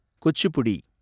Kuchipudi